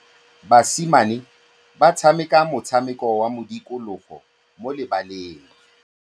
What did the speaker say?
Basimane ba tshameka motshameko wa modikologô mo lebaleng.